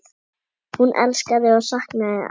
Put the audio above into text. Hún elskaði og saknaði afa.